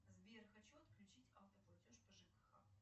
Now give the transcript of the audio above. сбер хочу отключить автоплатеж по жкх